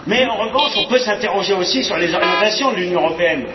En revanche on peut s'interroger aussi sur les orientations de l'Union européenne.